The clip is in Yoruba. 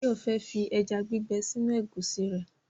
Báyọ̀ fẹ́ fi ẹja gbígbẹ sínú ẹ̀gúsí rẹ̀